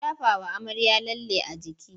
An shafawa amarya lalle a jiki.